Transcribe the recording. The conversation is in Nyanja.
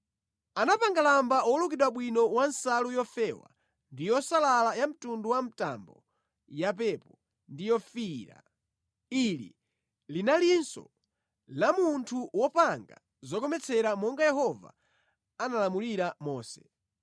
Anapanga lamba wolukidwa bwino wa nsalu yofewa ndi yosalala ya mtundu wa mtambo yapepo ndi yofiira. Ili linaliluso la munthu wopanga zokometsera monga Yehova analamulira Mose.